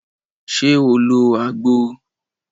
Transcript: Ṣe o lo agbo?